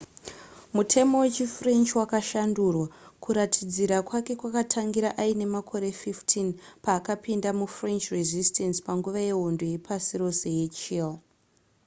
mutemo wechifrench wakashandurwa kuratidzira kwake kwakatangira aine makore 15 paakapinda mufrench resistance panguva yehondo yepasi rose yechiii